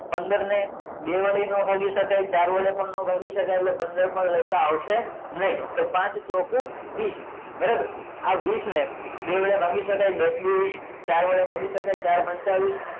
પંદર ને બે વડે નો ભાગી સકાય ચાર વડે પણ નો ભાગી સકાય એટલે પંદર પણ લસા આવશે નહી તો પાંચ ચોકુ વીસ બરોબર આ વીસ ને બે વડે ભાગી સકાય દસ દૂ વીસ ચાર વડે ભાગી સકાય ચાર પંચા વીસ